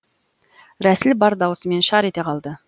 рәсіл бар даусымен шар ете қалды